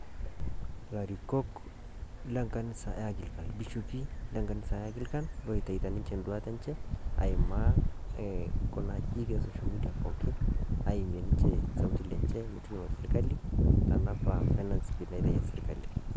larikok lenkanisa e anglican bishopi oitawutua ninje enduata enye aimaa kuna ajijik social media pookin aimie sipitali tenapa notice naitawutuo sirkali